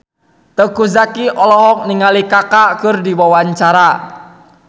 Teuku Zacky olohok ningali Kaka keur diwawancara